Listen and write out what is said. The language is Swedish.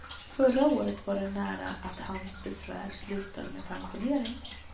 Förra året var det nära att hans besvär slutade med pensionering.